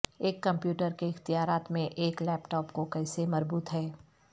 ایک کمپیوٹر کے اختیارات میں ایک لیپ ٹاپ کو کیسے مربوط ہے